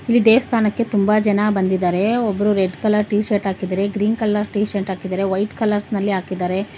ಈ ದೇವಸ್ಥಾನಕ್ಕೆ ತುಂಬ ಜನ ಬಂದಿದ್ದಾರೆ ಒಬ್ರು ರೆಡ್ ಕಲರ್ ಟೀ ಶರ್ಟ್ ಹಾಕಿದರೆ ಗ್ರೀನ್ ಕಲರ್ ಟೀ ಶರ್ಟ್ ಹಾಕಿದ್ದಾರೆ ವೈಟ್ ಕಲರ್ಸ್ ನಲ್ಲಿ ಹಾಕಿದ್ದಾರೆ.